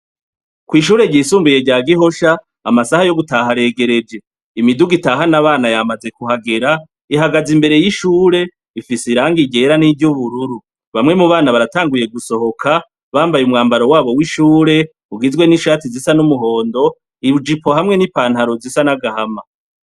Kw'ishure ryisumbuye rya Gihosha amasaha yo gutaha aregereje, imiduga itahana abana yamaze kuhagera , ihagaze imbere y'ishure ifise irangi ryera n'iry'ubururu .Bamwe mu bana baratanguye gusohoka bambaye umwambaro wabo w'ishure ugizwe n'ishati zisa n'umuhondo ,ijipo hamwe n'ipantaro zisa n'agahama.